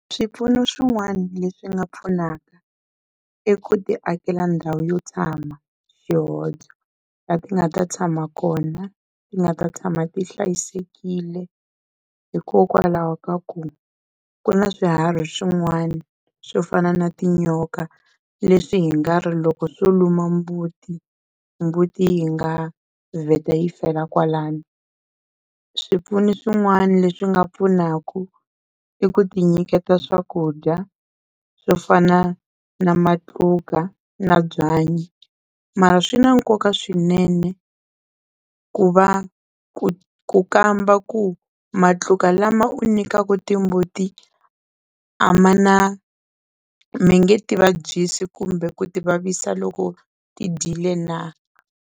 Swipfuno swin'wana leswi nga pfunaka i ku ti akela ndhawu yo tshama la ti nga ta tshama kona ti nga ta tshama ti hlayisekile hikokwalaho ka ku ku na swiharhi swin'wana swo fana na tinyoka leswi hi nga ri loko swo luma mbuti mbuti yi nga vheta yi fela kwalano, swipfuno swin'wana leswi nga pfunaka i ku ti nyiketa swakudya swo fana na matluka na byanyi, mara swi na nkoka swinene ku va ku ku kamba ku matluka lama u nyikaka timbuti a ma na mi nge ti vabyisi kumbe ku ti vavisa loko ti dyile na.